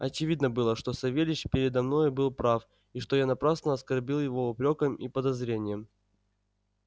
очевидно было что савельич передо мною был прав и что я напрасно оскорбил его упрёком и подозрением